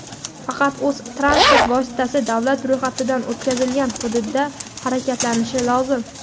faqat o‘z (transport vositasi davlat ro‘yxatidan o‘tkazilgan) hududida harakatlanishi lozim.